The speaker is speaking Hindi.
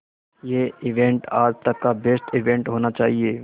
ये इवेंट आज तक का बेस्ट इवेंट होना चाहिए